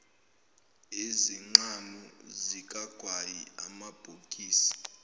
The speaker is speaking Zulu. izinqamu zikagwayi amabhokisi